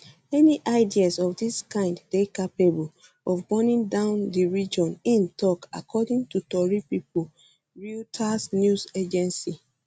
any ideas of dis kind dey capable of burning down di region im tok according to tori pipo reuters news agency